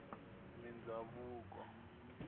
mindhavuko